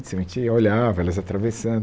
A gente olhava, elas atravessando.